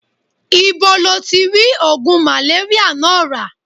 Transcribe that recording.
Ibo lo ti ri ogun maleria naa ra?